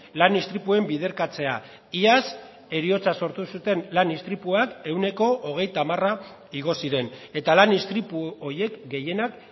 lan istripuen biderkatzea iaz heriotza sortu zuten lan istripuak ehuneko hogeita hamara igo ziren eta lan istripu horiek gehienak